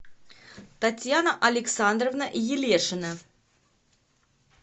татьяна александровна елешина